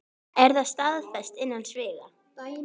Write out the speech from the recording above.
Er það staðfest innan sviga?